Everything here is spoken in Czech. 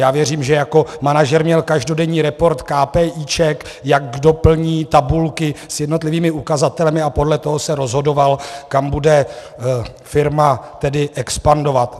Já věřím, že jako manažer měl každodenní report kápéíček, jak kdo plní tabulky, s jednotlivými ukazateli, a podle toho se rozhodoval, kam bude firma tedy expandovat.